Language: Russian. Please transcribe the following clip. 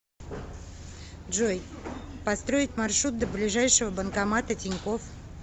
джой построить маршрут до ближайшего банкомата тинькофф